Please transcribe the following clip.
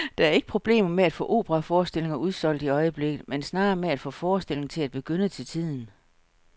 Der er ikke problemer med at få operaforestillinger udsolgt i øjeblikket, men snarere med at få forestillingerne til at begynde til tiden.